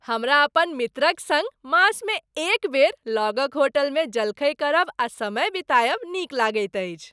हमरा अपन मित्रक सङ्ग मासमे एक बेर लगक होटलमे जलखै करब आ समय बितायब नीक लगैत अछि।